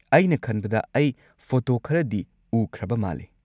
ꯑꯩꯅ ꯈꯟꯕꯗ ꯑꯩ ꯐꯣꯇꯣ ꯈꯔꯗꯤ ꯎꯈ꯭ꯔꯕ ꯃꯥꯜꯂꯤ꯫